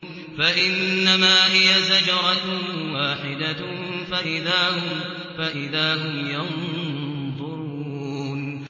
فَإِنَّمَا هِيَ زَجْرَةٌ وَاحِدَةٌ فَإِذَا هُمْ يَنظُرُونَ